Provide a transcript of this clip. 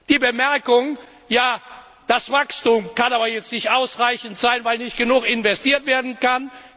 die Bemerkung Das Wachstum kann aber jetzt nicht ausreichend sein, weil nicht genug investiert werden kann.